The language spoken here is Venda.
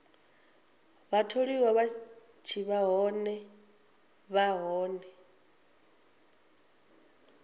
vhatholiwa vha tshi vha hone